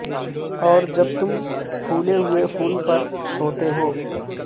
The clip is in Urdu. اور جب تم پھولے ہوئے پھول پر سوتے ہو